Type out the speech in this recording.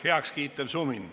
Heakskiitev sumin.